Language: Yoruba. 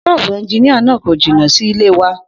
S̩ó̩ò̩bù e̩njiníà náà kò jìnnà sí ilé wa